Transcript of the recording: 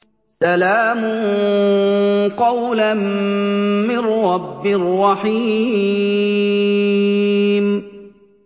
سَلَامٌ قَوْلًا مِّن رَّبٍّ رَّحِيمٍ